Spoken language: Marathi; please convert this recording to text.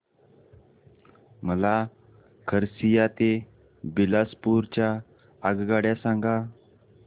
मला खरसिया ते बिलासपुर च्या आगगाड्या सांगा